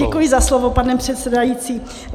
Děkuji za slovo, pane předsedající.